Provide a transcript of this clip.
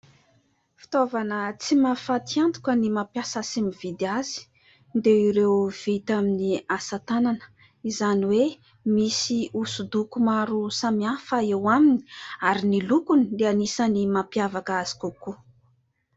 Fitaovana tsy mahafaty antoka ny mampiasa sy mividy azy dia ireo vita amin'ny asa-tànana, izany hoe misy hosodoko maro samihafa eo aminy ary ny lokony dia anisany mampiavaka azy kokoa.